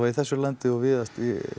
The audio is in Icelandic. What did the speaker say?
í þessu landi og víðast